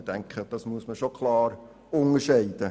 Ich denke, das muss schon klar unterschieden werden.